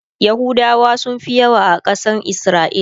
yahudawa sunfi yawa yawa a Kasan isra'ila